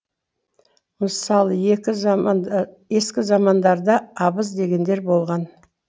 мысалы ескі замандарда абыз дегендер болған